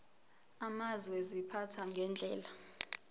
amazwe ziphathwa ngendlela